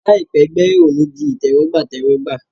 Làìpẹ́, gbẹ́rẹ́ ọ̀ ní di ìtẹ́wọ́gbà tẹ́wọ́gbà